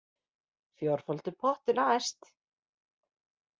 Fjórfaldur pottur næst